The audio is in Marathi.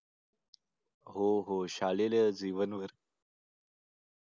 हो हो शालेय जीवनवर